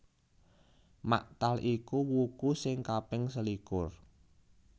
Maktal iku wuku sing kaping selikur